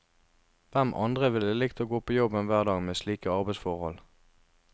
Hvem andre ville likt å gå på jobben hver dag med slike arbeidsforhold?